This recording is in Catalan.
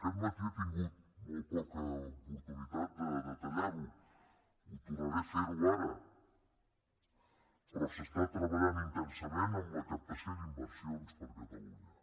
aquest matí he tingut molt poca oportunitat de detallar ho ho tornaré a fer ara però s’està treballant intensament en la captació d’inversions per a catalunya